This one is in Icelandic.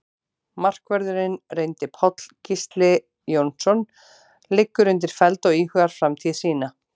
Markvörðurinn reyndi Páll Gísli Jónsson liggur undir feld og íhugar framtíð sína.